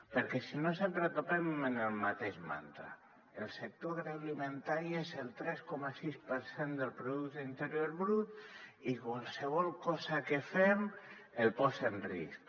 perquè si no sempre topem amb el mateix mantra el sector agroalimentari és el tres coma sis per cent del producte interior brut i qualsevol cosa que fem el posa en risc